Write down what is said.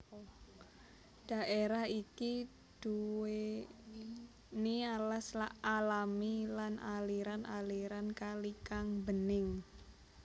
Daerah iki duweni alas alami lan aliran aliran kali kang bening